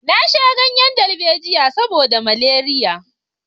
Na sha ganyen darbejiya saboda maleriya